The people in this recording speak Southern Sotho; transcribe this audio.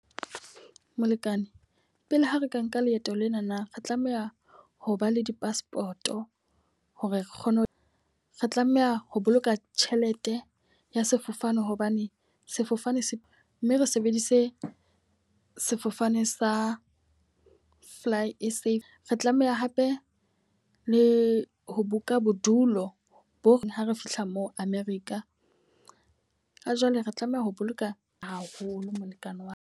Molekane, pele ha re ka nka leeto lenana re tlameha ho ba le di-passport, hore re kgone ho re tlameha ho boloka tjhelete ya sefofane hobane sefofane se mme re sebedise sefofane sa Fly S_A. Re tlameha hape le ho buka bodulo bo reng ha re fihla moo America. Ha jwale re tlameha ho boloka haholo molekane wa ka.